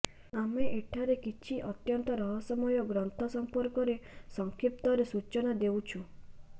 ଆମେ ଏଠାରେ କିଛି ଅତ୍ୟନ୍ତ ରହସ୍ୟମୟ ଗ୍ରନ୍ଥ ସମ୍ପର୍କରେ ସଂକ୍ଷିପ୍ତରେ ସୂଚନା ଦେଉଛୁ